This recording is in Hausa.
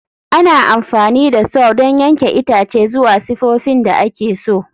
Ana amfani da Saw don yanke itace zuwa sifofin da ake so.